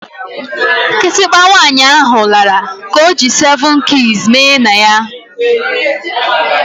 Kitikpa nwaanyị ahụ lara ka ọ ji seven keys mee na ya